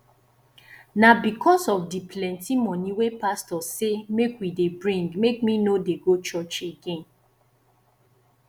na because of di plenty moni wey pastor sey make we dey bring make me no dey go church again